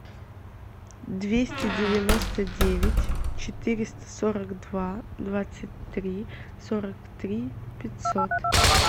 двести девяносто девять четыреста сорок два двадцать три сорок три пятьсот